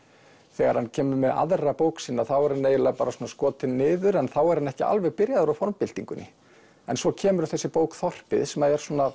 þegar hann kemur með aðra bók sína þá er hann eiginlega bara skotinn niður en þá er hann ekki alveg byrjaður á formbyltingunni en svo kemur þessi bók þorpið sem er svona